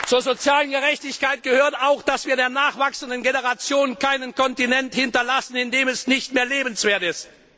Zur sozialen Gerechtigkeit gehört auch, dass wir der nachwachsenden Generation keinen Kontinent hinterlassen, in dem es nicht mehr lebenswert ist.